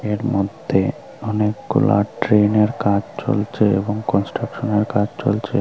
এর মধ্যে অনেকগুলা ট্রেনের কাজ চলছে এবং কনস্ট্রাকশনের কাজ চলছে।